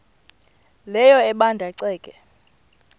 leyo ebanda ceke